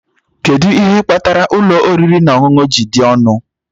Kedu ihe kpatara ụlọ oriri na ọṅụṅụ a ji dị ọnụ?